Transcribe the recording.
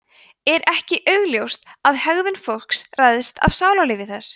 er ekki augljóst að hegðun fólks ræðst af sálarlífi þess